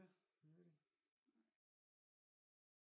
Ja